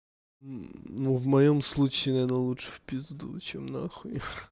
ну в моём случае наверно лучше в пизду чем нахуй